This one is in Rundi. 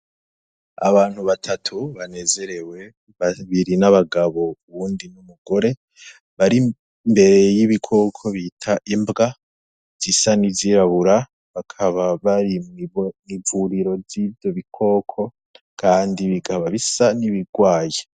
Abantu batatu banezerewe babiri n'abagabo uwundi n'umugore bari imbere y'ibikoko bita imbwa zisa ni izirabura bakaba bari mwm'ivuriro ry'ivyo bikoko, kandi bigaba bisa n'ibirwaye.